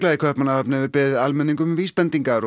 í Kaupmannahöfn hefur beðið almenning um vísbendingar og